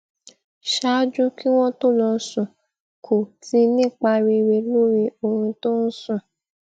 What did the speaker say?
ṣáájú kí wón tó lọ sùn kù ti nípa rere lórí oorun tó ń sùn